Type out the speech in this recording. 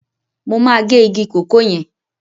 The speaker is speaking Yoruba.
Mo máa gé igi kòkó yẹn.